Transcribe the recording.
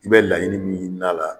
I bɛ laɲini min ɲini n'a la